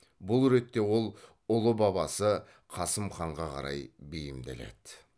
бұл ретте ол ұлы бабасы қасым ханға қарай бейімделеді